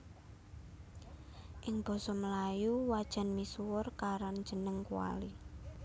Ing basa melayu wajan misuwur karan jeneng kuali